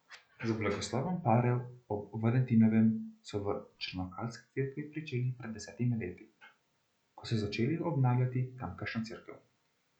Z blagoslovom parov ob Valentinovem so v črnokalski cerkvi pričeli pred desetimi leti, ko so začeli obnavljati tamkajšnjo cerkev.